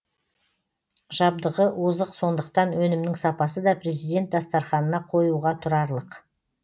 жабдығы озық сондықтан өнімнің сапасы да президент дастарханына қоюға тұрарлық